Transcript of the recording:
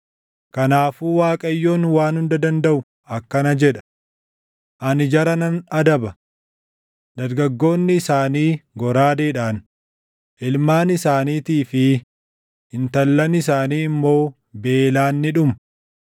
Kanaafuu Waaqayyoon Waan Hunda Dandaʼu akkana jedha: ‘Ani jara nan adaba. Dargaggoonni isaanii goraadeedhaan, ilmaan isaaniitii fi intallan isaanii immoo beelaan ni dhumu.